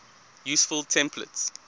useful templates